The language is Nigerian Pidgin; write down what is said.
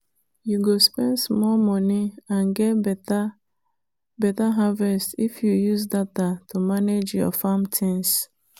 you go spend small money and get better better harvest if you use data to manage your farm things.